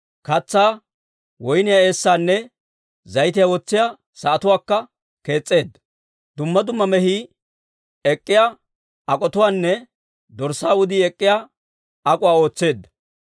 Katsaa, woyniyaa eessaanne zayitiyaa wotsiyaa sa'atuwaakka kees's'eedda. Dumma dumma mehii ek'k'iyaa ak'otuwaanne dorssaa wudii ek'k'iyaa ak'uwaa ootseedda.